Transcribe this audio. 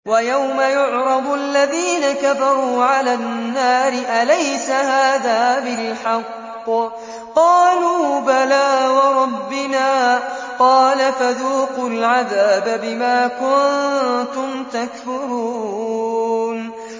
وَيَوْمَ يُعْرَضُ الَّذِينَ كَفَرُوا عَلَى النَّارِ أَلَيْسَ هَٰذَا بِالْحَقِّ ۖ قَالُوا بَلَىٰ وَرَبِّنَا ۚ قَالَ فَذُوقُوا الْعَذَابَ بِمَا كُنتُمْ تَكْفُرُونَ